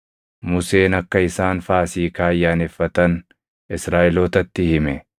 Museen akka isaan Faasiikaa ayyaaneffatan Israaʼelootatti hime;